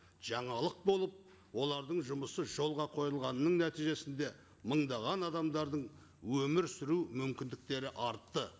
жаңалық болып олардың жұмысы жолға қойылғанның нәтижесінде мыңдаған адамдардың өмір сүру мүмкіндіктері артты